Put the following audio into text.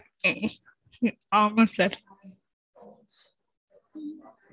ஆமா sir